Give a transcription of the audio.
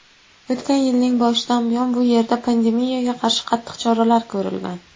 o‘tgan yilning boshidan buyon bu yerda pandemiyaga qarshi qattiq choralar ko‘rilgan.